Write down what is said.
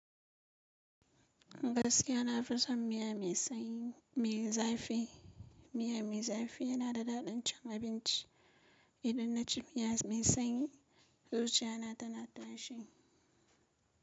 Gaskiya na fi son miya mai sanyi mai zafi. Miya mai zafi yana da daɗin cin abinci. Idan na ci piyas mai sanyi zuciya na tana tashi.